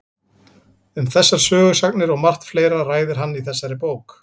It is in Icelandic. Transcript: Um þessar sögusagnir og margt fleira ræðir hann í þessari bók.